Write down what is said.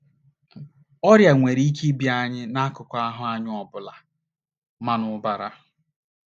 n! Ọrịa nwere ike ịbịa anyị n’akụkụ ahụ́ anyị ọ bụla, ma n’ụbụrụ.